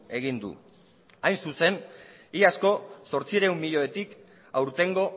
egin du hain zuzen iazko zortziehun milioitik aurtengo